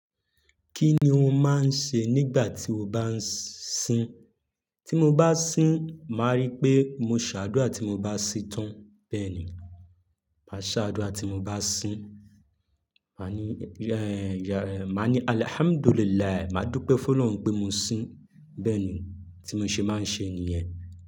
Kí ni o máa ń ṣe nígbà tí o bá ń sin? Tí mo bá sin, màá rí pé mo ṣàdúrà tí mo bá si tán bẹ́ẹ̀ ni. Màá ṣàdúrà tí mo bá sin. Mani "Alhamdulilah" madu pẹ f'ọlọrun pe mosin bẹ́ẹ̀ ni tí mo ṣe máa ń ṣe nìyẹn.